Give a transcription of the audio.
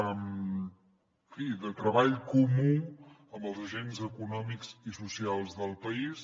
en fi de treball comú amb els agents econòmics i socials del país